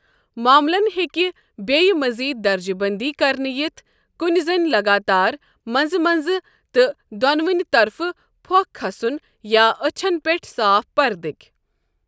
معملن ہیٚكہِ ییہِ مٔزیٖد درجہ بنٛدی کرنہٕ یِتھ کٔنہِ زن لگاتار منٛزٕ منٛزٕ تہٕ دونوٕنہِ طرفن پھۄكھ كھسن یا اچھن پیٹھ صاف پردٕ۔